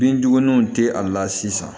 Bin duguniw tɛ a la sisan